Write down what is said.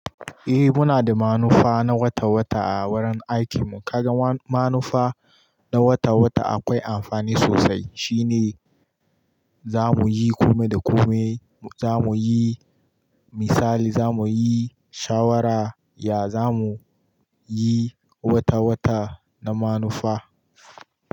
Eh muna da manufa na wata wata a wurin aikin mu. Kaga manufa na wata wata akwai amfani sosai. Shi ne za muyi komai da komai, za muyi misali, za muyi shawara, ya zamu yi wata wata na manufa.